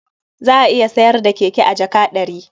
Za a iya sayar da keke a jaka ɗari.